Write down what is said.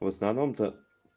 в основном то